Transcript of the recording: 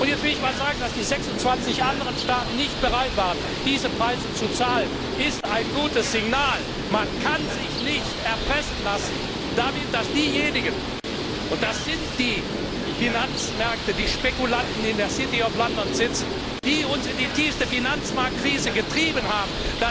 Und jetzt will ich sagen Dass die 26 anderen Staaten nicht bereit waren, diese Preise zu zahlen, ist ein gutes Signal. Man kann sich nicht damit erpressen lassen, dass diejenigen und das sind die Finanzmärkte, die Spekulanten, die in der City of London sitzen die uns in die tiefste Finanzmarktkrise getrieben haben,